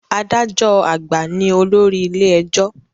Adájọ́ àgbà ní olórí ilé ẹjọ́